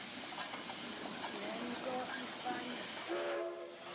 le nto ifana